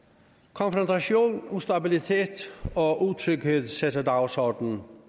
konfrontation ustabilitet og utryghed sætter dagsordenen